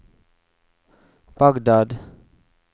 Bagdad